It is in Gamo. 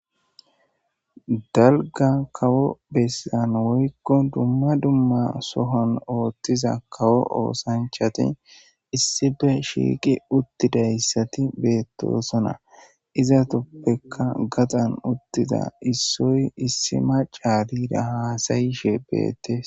dalga kawo bessan woykko dumma dumma sohon ooththiza kawo oosanchati issippe shiiqi uttidayssati beettosona iza toppekka gaxan uttida issoy issi macaasira haasayishe beettes